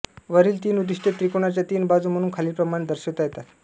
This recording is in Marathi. वरील तीन उद्दिष्टे त्रिकोणाच्या तीन बाजू म्हणून खालीलप्रमाणे दर्शवता येतात